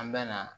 An bɛ na